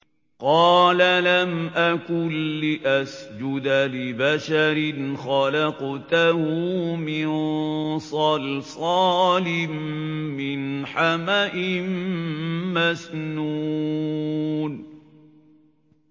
قَالَ لَمْ أَكُن لِّأَسْجُدَ لِبَشَرٍ خَلَقْتَهُ مِن صَلْصَالٍ مِّنْ حَمَإٍ مَّسْنُونٍ